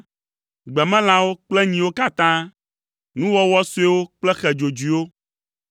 gbemelãwo kple nyiwo katã, nuwɔwɔ suewo kple xe dzodzoewo,